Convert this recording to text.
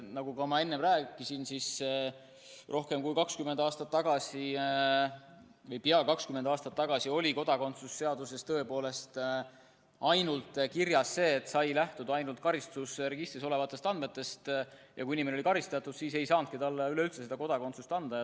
Nagu ma enne rääkisin, siis rohkem kui 20 aastat tagasi või peaaegu 20 aastat tagasi oli kodakondsuse seaduses tõepoolest kirjas nii, et tuli lähtuda ainult karistusregistris olevatest andmetest, ja kui inimene oli karistatud, siis ei saanudki talle kodakondsust anda.